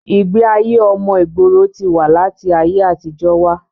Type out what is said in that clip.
ìgbé ayé ọmọ ìgboro ti wà láti ayé àtijọ́ wá